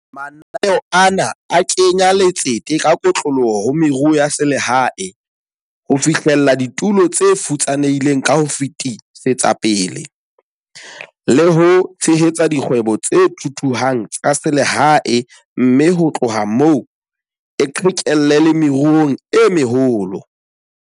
Mananeo ana a kenya letsete ka kotloloho ho meruo ya selehae, ho fihlella ditulo tse futsanehileng ka ho fetisetsa pele, le ho tshehetsa dikgwebo tse thuthuhang tsa selehae mme ho tloha moo e qhekelle le meruong e meholo.